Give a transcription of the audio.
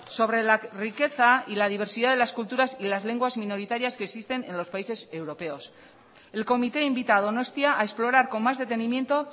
sobre la riqueza y la diversidad de las culturas y las lenguas minoritarias que existen en los países europeos el comité invita a donostia a explorar con más detenimiento